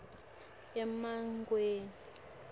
emangweni